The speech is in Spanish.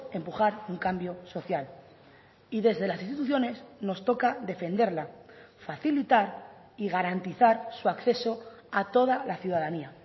empujar un cambio social y desde las instituciones nos toca defenderla facilitar y garantizar su acceso a toda la ciudadanía